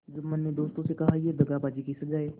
जुम्मन ने दोस्तों से कहायह दगाबाजी की सजा है